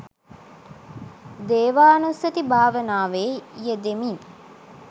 දේවානුස්සතී භාවනාවේ යෙදෙමින්